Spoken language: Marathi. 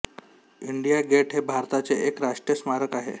इंडिया गेट हे भारताचे एक राष्ट्रीय स्मारक आहे